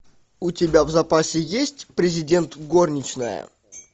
у тебя в запасе есть президент горничная